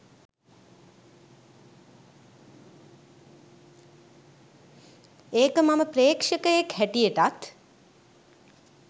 ඒක මම ප්‍රේක්ෂකයෙක් හැටියටත්.